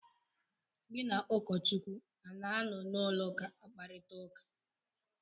Gị na ụkọchukwu anọ na ụlọụka akparịta ụka?